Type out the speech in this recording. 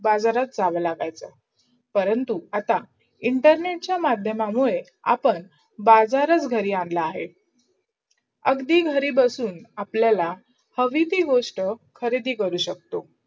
बाजारात जावं लागायचा. परंतु आता इंटरनेटचा मधयमामूदे आपण बाजारात घाटी आणला आहेत. अगदी घरी बसून आपल्यला हवी ती गोष्ट खरीदी करू शकतो.